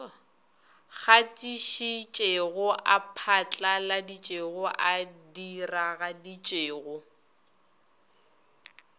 gatišitšego a phatlaladitšego a diragaditšego